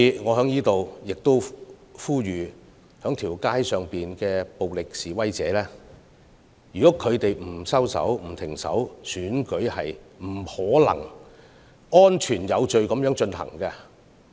我在此呼籲，如果在街道上的暴力示威者不收手，選舉是不可能安全有序地進行的。